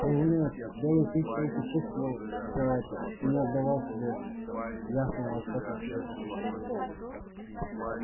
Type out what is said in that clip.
разумеется белый клык только чувствовал всё это и не отдавал себе ясного отчёта в своих ощущениях